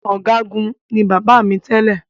Ọ̀gágun ni bàbá mi tẹ́lẹ̀